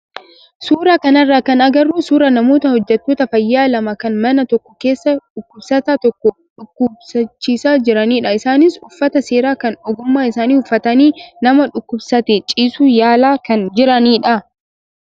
Suuraa kanarraa kan agarru suuraa namoota hojjattoota fayyaa lama kan mana tokko keessa dhukkubsataa tokko dhukkubsachiisaa jiranidha. Isaanis uffata seeraa kan ogummaa isaanii uffatanii nama dhukkubsatee ciisu yaalaa kan jiranidha.